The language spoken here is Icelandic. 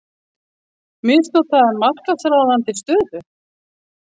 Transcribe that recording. Misnotaði markaðsráðandi stöðu